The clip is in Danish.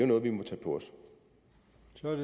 noget vi må tage på